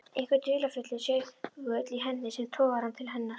Einhver dularfullur segull í henni sem togar hann til hennar.